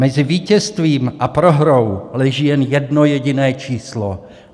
Mezi vítězstvím a prohrou leží jen jedno jediné číslo.